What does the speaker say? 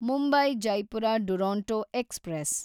Mumbai Jaipur Duronto express